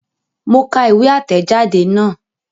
Mo ka ìwé àtẹ̀jadé náà